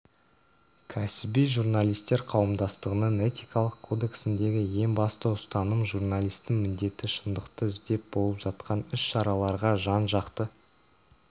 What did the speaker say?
кәсіби журналистер қауымдастығының этикалық кодексіндегі ең басты ұстаным журналистің міндеті шындықты іздеп болып жатқан іс-шараларға жан-жақты